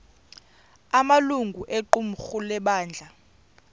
amalungu equmrhu lebandla